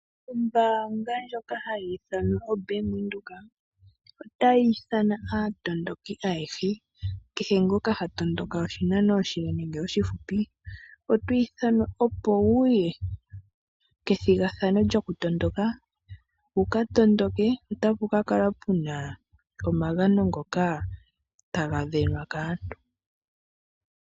Ombaanga ndjoka hayi ithanwa oBank Windhoek otayi ithana aatondoki ayehe, kehe ngoka ha tondoka oshinano oshile nenge oshifupi. Otwi ithanwa opo wuye kethigathano lyokutondoka wuka tondoke ,otapu ka kala puna omagano ngoka taga sindanwa kaantu.